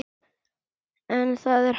En það er hægt.